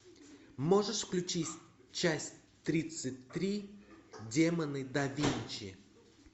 можешь включить часть тридцать три демоны да винчи